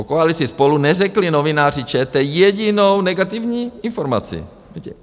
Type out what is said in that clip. O koalici SPOLU neřekli novináři ČT jedinou negativní informaci.